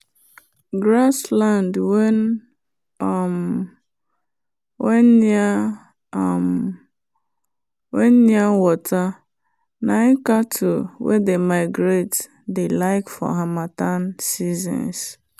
grass land wen um near um water na cattle wen dey migrate dey like for harmattan seasons